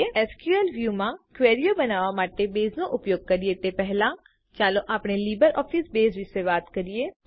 SQL view માં ક્વેરીઓ બનાવવા માટે બેઝનો ઉપયોગ કરીએ તે પહેલા ચાલો આપણે લીબરઓફીસ બેઝ વિશે વાત કરીએ